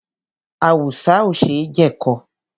Awùsá ò ṣe jẹ̀kọ.